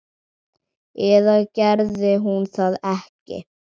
Eða gerði hún það ekki?